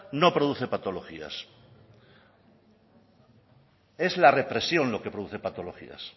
no produce patologías es la represión lo que produce patologías